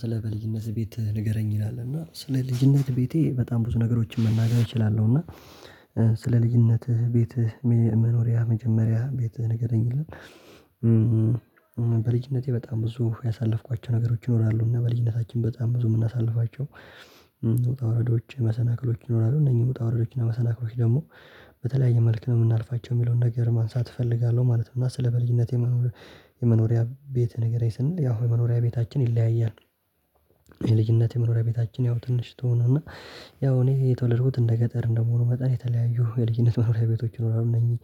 ስለ በልጅነት ቤትህ ንገረኝ ይላል እና ስለ ልጅነት ቤቴ በጣም ብዙ ነገሮችን መናገር እችላለሁ እና ስለ ልጅነትህ ቤትህ መኖሪያ መጀመሪያ ቤትህን ይገኛል። በልጅነቴ በጣም ብዙ ያሳለፍኳቸው ነገሮች ይኖራሉ እና በልጅነታችን በጣም ብዙ የምናሳልፋቸው ውጣ ውረዶች መሰናክሎች ይኖራሉ። እነኚህ ውጣ ወረዶችን መሰናክሎች ደግሞ በተለያየ መልክ ነው የምናልፋቸው የሚለውን ነገር ማንሳት እፈልጋለሁ ማለት ነው። እና ስለ በልጅነቴ የመኖሪያ ቤትህ ንገረኝ ስንል ያው የመኖሪያ ቤታችን ይለያያል። የልጅነት የመኖሪያ ቤታችን ያው ትንሽ ትሆንና ያው እኔ የተወለድኩት እንደ ገጠር እንደመሆኑ መጠን የተለያዩ የልጅነት መኖሪያ ቤቶች ይኖራሉ። እነኚህ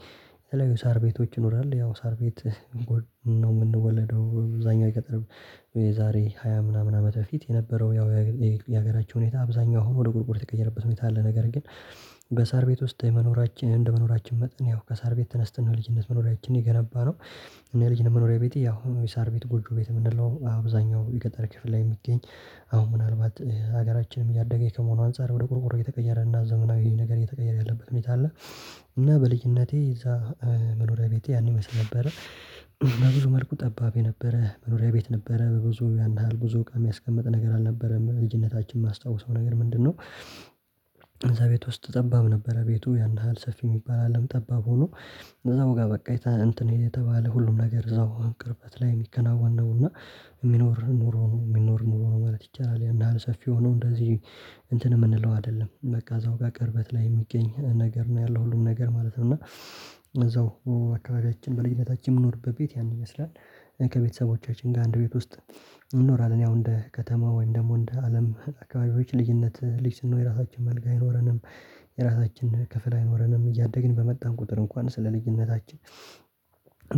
የተለያዩ ሳር ቤቶች ይኖራሉ። ያው ሳር ቤት ነው የምንወለደው አብዛኛው የገጠሪም የዛሬ ሃያ ምናምን ዓመተ ፊት የነበረው ያው የሀገራችን ሁኔታ አብዛኛው አሁን ወደ ጉግል የተቀየረበት ሁኔታ አለ። ነገር ግን በሳር ቤት ውስጥ የመኖራችን እንደ መኖራችን መጠን ያው ከሳር ቤት ተነስተን ነው ልጅነት መኖሪያችን የገነባነው። እኔ ልጅ መኖሪያ ቤቴ አሁን ወይ ሳር ቤት ጎጆ ቤት የምንለው አብዛኛው የገጠረ ክፍል ላይ የሚገኝ አሁን ምናልባት ሀገራችንም እያደገ ከመሆኑ አንፃር ወደ ቆርቆሮ የተቀየረ እና ዘመናዊ ነገር እየተቀየረ ያለበት ምክንያት አለ። እና በልዩነቴ እዛ መኖሪያ ቤቴ ያን ይመስል ነበረ። እና ብዙ መልኩ ጠባብ የነበረ መኖሪያ ቤት ነበረ ብዙ ያን ያህል ብዙ እቃ የሚያስቀምጥ ነገር አልነበረም። ልጅነታችን የማስታውሰው ነገር ምንድነው? እዛ ቤት ጠባብ ነበረ፤ ቤቱ ያን ያህል ሰፊ የሚባል አይደለም ጠባብ ሆኖ እዛው ጋር በቃ እንትን የተባለ ሁሉም ነገር እዛው ቅርበት ላይ የሚከናወን ነው እና። የሚኖር ኑሮ ነው የሚኖር ኑሮ ነው ማለት ይቻላል። ያን ያህል ሰፊ ሆኖ እንደዚህ እንትን የምንለው አይደለም። በቃ እዛው ጋር ቅርበት ላይ የሚገኝ ነገር ነው ያለው ሁሉም ነገር ማለት ነው። እና እዛው አካባቢያችን በልጅነታችን የምንኖርበት ቤት ያን ይመስላል። ከቤተሰቦቻችን ጋር አንድ ቤት ውስጥ እንኖራለን። ያው እንደ ከተማ ወይም ደግሞ እንደ አለም አካባቢዎች ልዩነት የራሳችን መልካ አይኖረንም። የራሳችን ክፍል አይኖረንም፣ እያደግን በመጣን ቁጥር እንኳን ስለ ልዩነታችን፣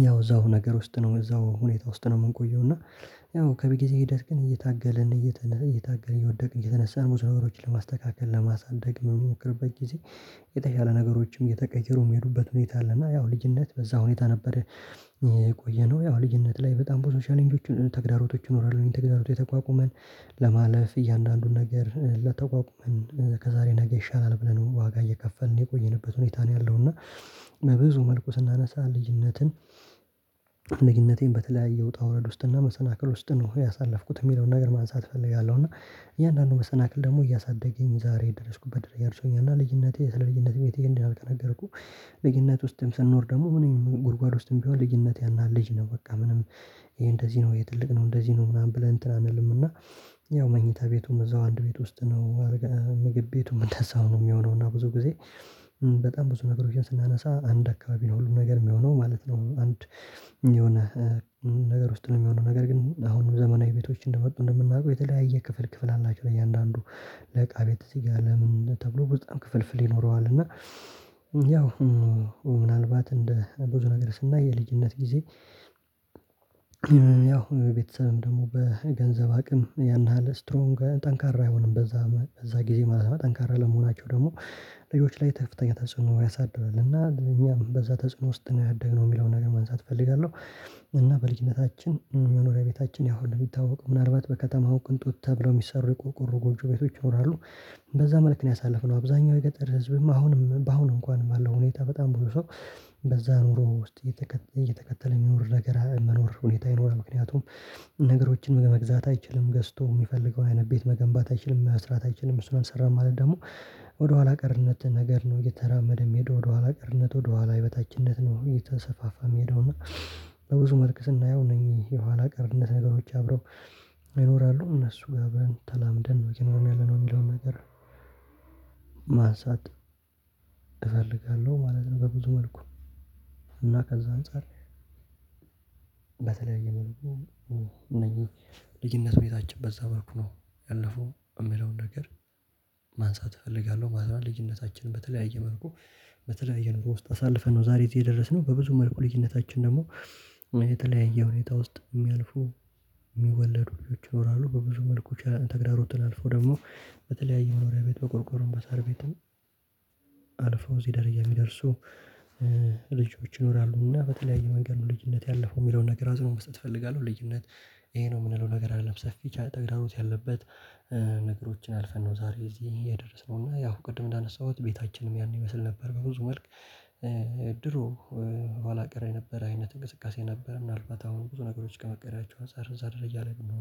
ያው እዛው ነገር ውስጥ ነው እዛው ሁኔታ ውስጥ ነው የምንቆየው። እና ያው ከቤተክርስቲያን ሂደት ግን እየታገለን እየተነሳ እየታገለን እየወደቅን እየተነሳን ሙሰቦሮችን ለማስተካከል ለማሳደግ የምሞክርበት ጊዜ የተሻለ ነገሮችም የተቀየሩም የሚሄዱበት ሁኔታ አለና ያው ልጅነት በዛ ሁኔታ ነበረ። የቆየነው ያው ልጅነት ላይ በጣም ብዙ ሻሌንጆችን ተግዳሮቶች እኖራለሁኝ ተግዳሮቶች የተቋቁመን ለማለፍ እያንዳንዱን ነገር እየተቋቋመን ከዛሬ ነገ ይሻላል ብለን ዋጋ እየከፈልን የቆየንበት ሁኔታ ነው ያለው። እና በብዙ መልኩ ስናነሳ ልጅነትን፣ ልጅነቴን በተለያየ ውጣ ውረድ ውስጥና መሰናክል ውስጥ ነው ያሳለፍኩት የሚለውን ነገር ማንሳት ፈልጋለሁ። እና እያንዳንዱ መሰናክል ደግሞ እያሳደገኝ ዛሬ የደረስኩበት አድርሶኛል። እና ልዩነቴ ስለ ልዩነት ቤት ይሄንን አልቀረኩ። ልጅነት ውስጥም ስንኖር ደግሞ ምንም ጉድጓድ ውስጥም ቢሆን ልጅነት ያን ያህል ልጅ ነው በቃ ምንም ይሄ እንደዚህ ነው የትልቅ ነው እንደዚህ ነው ምናምን ብለን እንትን አንልምና ያው መኝታ ቤቱም እዛው አንድ ቤት ውስጥ ነው። ምግብ ቤቱም እንደዛው ነው የሚሆነው እና ብዙ ጊዜ በጣም ብዙ ነገሮችን ስናነሳ አንድ አካባቢ ነው። ሁሉም ነገር የሚሆነው ማለት ነው አንድ የሆነ ነገር ውስጥ ነው የሚሆነው ነገር ግን አሁንም ዘመናዊ ቤቶች እንደመጡ እንደምናውቀው የተለያየ ክፍል ክፍል አላቸው። እያንዳንዱ የእቃ ቤት እዚህ ጋር ለምን ተብሎ በጣም ክፍል ፍል ይኖረዋል። እና ያው ምናልባት እንደ ብዙ ነገር ስናይ ልጅነት ጊዜ ያው ቤተሰብም ደግሞ በገንዘብ አቅም ያን ያህል ስትሮንግ ጠንካራ አይሆንም በዛ በዛ ጊዜ ማለት ነው ጠንካራ ለመሆናቸው ደግሞ ልጆች ላይ ከፍተኛ ተጽዕኖ ያሳድራል። እና ለእኛም በዛ ተጽዕኖ ውስጥ ነው ያደግነው የሚለውን ነገር ማንሳት እፈልጋለሁ። እና በልጅነታችን መኖሪያ ቤታችን ያው ነው የሚታወቀው ምናልባት በከተማው ቅንጦት ተብለው የሚሰሩ የቆርቆሮ ጎብጁ ቤቶች ይኖራሉ። በዛ መልክ ነው ያሳለፍነው አብዛኛው የገጠር ህዝብም አሁንም በአሁን እንኳን አለው ሁኔታ በጣም ብዙ ሰው። በዛ ኑሮ ውስጥ እየተከተለ የሚኖር ነገር መኖር ሁኔታ ይኖር ምክንያቱም ነገሮችን መግዛት አይችልም ገዝቶ የሚፈልገውን አይነት ቤት መገንባት አይችልም፤ መስራት አይችልም፤ እሱንም ሰራ ማለት ደግሞ ወደኋላ ቀርነት ነገር ነው እየተራመደ የሚሄደው ወደኋላ ቅርነት ወደኋላ የበታችነት ነው የተሰፋፋም ሄዶ እና። በብዙ መልክ ስናየው እነዚህ የኋላ ቀርነት ነገሮች አብረው ይኖራሉ እነሱ ጋር በተላምደን ነው እየኖርን ያለነው የሚለውን ነገር። ማንሳት እፈልጋለሁ ማለት ነው። በብዙ መልኩ እና ከዛ አንፃር በተለይ የሚለው እነዚህ ልጅነቱ የታጨበት ነበርኩ ነው። ያለፈው የሚለውን ነገር ማንሳት እፈልጋለሁ። ማለት ልጅነታችንን በተለያየ መልኩ በተለያየ ኑሮ ውስጥ አሳልፈን ነው ዛሬ የደረስነው። በብዙ መልኩ ልጅነታችን ደግሞ የተለያየ ሁኔታ ውስጥ የሚያልፉ የሚወለዱ ልጆች ይኖራሉ። በብዙ መልኩ ተግዳሮትን አልፎ ደግሞ በተለያዩ መኖሪያ ቤት በቆርቆሮ በሳር ቤትም አልፎ እዚህ ደረጃ የሚደርሱ። ልጆች ይኖራሉና በተለያየ መንገድ ነው ልጅነት ያለፈው የሚለውን ነገር አጽኖ መስጠት እፈልጋለሁ። ልጅነት ይሄ ነው የምንለው ነገር አልለበሰም ብቻ ተግዳራኖት ያለበት። ነገሮችን አልፈን ነው ዛሬ እዚህ የደረስነው እና ያው ቅድም እንዳነሳሁት ቤታችንም ያን ይመስል ነበር። በብዙ መልክ ድሮ ኋላ ቀር ነበረ አይነት እንቅስቃሴ ነበረ ምናልባት አሁን ብዙ ነገሮች ከመቀየራቸው አንፃር እዛ ደረጃ ላይ የምንሆነው